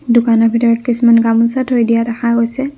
দোকানৰ ভিতৰত কিছুমান গামোচা থৈ দিয়া দেখা গৈছে।